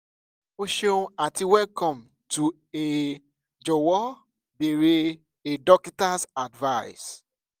o ṣeun ati welcome to a jọwọ beere a dokita's service